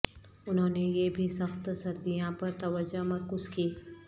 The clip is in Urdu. انہوں نے یہ بھی سخت سردیاں پر توجہ مرکوز کی